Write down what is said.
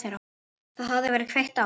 Það hafði verið kveikt á